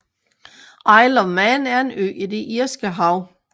Isle of Man er en ø i det Irske Hav